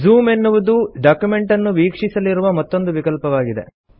zoom ಎನ್ನುವುದು document ಅನ್ನು ವೀಕ್ಷಿಸಲಿರುವ ಮತ್ತೊಂದು ವಿಕಲ್ಪವಾಗಿದೆ